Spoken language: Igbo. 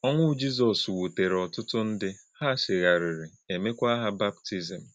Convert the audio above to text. Ọ́nwụ̄ Jizọ́s wútèrè̄ ọ̀tụ́tụ̄ ndị́; hà̄ chè̄ghárì̄rì̄, e mékwà̄ hà̄ baptizìm.